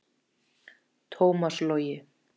Tómas Logi.